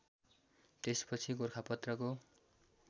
त्यसपछि गोरखापत्रको